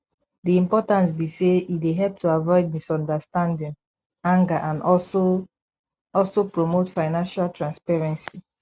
di importance be say e dey help to avoid misunderstanding anger and also also promote financial transparency